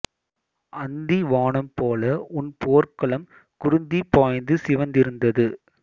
அந்தி வானம் போல உன் போர்க்களம் குருதி பாய்ந்து சிவந்திருந்தது